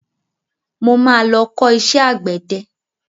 Mo ma lọ kọ́ iṣẹ́ àgbẹ̀dẹ.